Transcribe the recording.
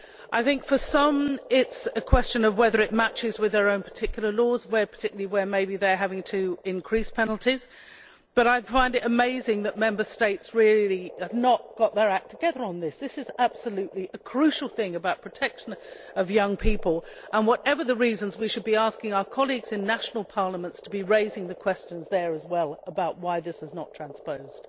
I think that for some it is a question of whether it matches with their own particular laws, in particular where they are having to increase penalties, but like you, I find it amazing that Member States have really not got their act together on this. This is absolutely a crucial thing about protection of young people and, whatever the reasons, we should be asking our colleagues in national parliaments to be raising the questions there, as well, about why this is not transposed.